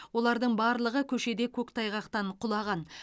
олардың барлығы көшеде көктайғақтан құлаған